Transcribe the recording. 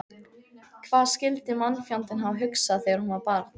Hvað skyldi mannfjandinn hafa hugsað þegar hún var barn?